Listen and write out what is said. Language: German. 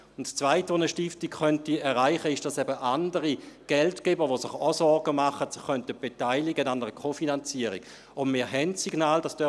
Das Zweite, was eine Stiftung erreichen könnte, ist, dass andere Geldgeber, die sich auch Sorgen machen, sich an einer Kofinanzierung beteiligen könnten.